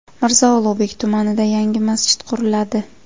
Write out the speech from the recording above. Mirzo Ulug‘bek tumanida yangi masjid quriladi.